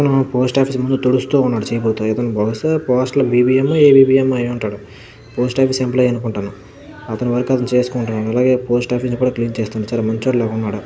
ఇతను post office ముందు తుడుస్తూ ఉన్నాడు చీపురుతో. బహుశా పోస్ట్ లో బిబిఎం ఎబిఎం ఓ అయ్యుంటాడు పోస్ట్ ఆఫీస్ ఎంప్లాయ్ అనుకుంటాను. అతని వర్క్ అతను చేసుకుంటున్నాడు అలాగే పోస్ట్ ఆఫీస్ కూడా క్లీన్ చేసుకుంటున్నాడు. చాలా మంచోడిలా ఉన్నాడు.